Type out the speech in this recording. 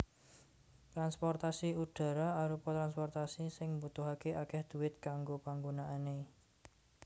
Transportasi udhara arupa transportasi sing mbutuhaké akèh dhuwit kanggo panggunaané